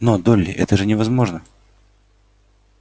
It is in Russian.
но долли это же невозможно